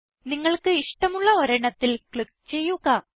നിങ്ങൾക്ക് ഇഷ്ടമുള്ള ഒരെണ്ണത്തിൽ ക്ലിക്ക് ചെയ്യുക